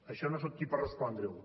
això no soc qui per respondre ho